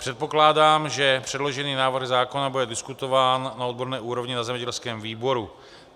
Předpokládám, že předložený návrh zákona bude diskutován na odborné úrovni na zemědělském výboru.